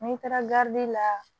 N'i taara la